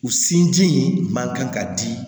U sinji in man kan ka di